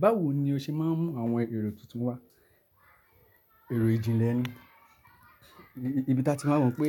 Báwo ni o ṣe máa ń mú àwọn èrò tuntun wá? Èrò ìjìnlẹ̀ ni, ibi táa ti máa mọ̀ pé